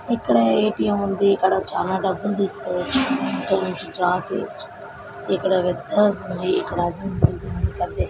ఇక్కడ ఎ_టి_ఎం ఉంది ఇక్కడ చాల డబ్బులు తీసుకోవచ్చు ఎ_టి_ఎం నుండి డ్రా చెయ్యొచ్చు ఇక్కడ పెద్ద ఉంది అది ఉంది ఇది ఉంది బడ్జెట్ --